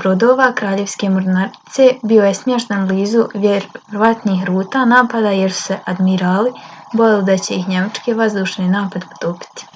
brodova kraljevske mornarice bio je smješten blizu vjerovatnih ruta napada jer su se admirali bojali da će ih njemački vazdušni napad potopiti